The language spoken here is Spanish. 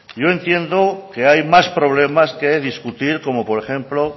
yo entiendo que hay más problemas que discutir como por ejemplo